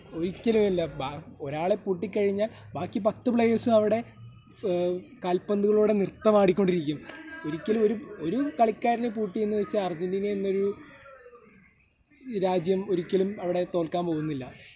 ഒരിക്കലുമില്ല. ഒരാളെ പൂട്ടിക്കഴിഞ്ഞാൽ ബാക്കി പത്ത് പ്ലേയേഴ്സ്‌ ഉം അവിടെ മ്മ്മ് കാല്പന്തുകളോട് നൃത്തമാടി കൊണ്ടിരിക്കും. ഒരിക്കലും ഒരു, ഒരു കളിക്കാരനെ പൂട്ടിയെന്നു വെച്ച് അർജെൻറ്റീനാ എന്നൊരു രാജ്യം ഒരിക്കലും അവിടെ തോൽക്കാൻ പോവുന്നില്ല.